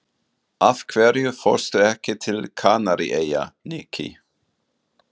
Af hverju fórstu ekki til Kanaríeyja, Nikki?